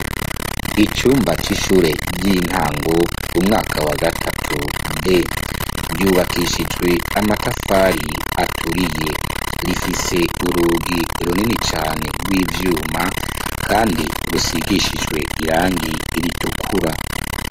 Icumba cy'ishure ry'intango umwaka wa gatatu d ryubakishijwe amatafari aturiye rifise urugi runini cane rw'ivyuma kandi rusigishijwe irangi iritukura.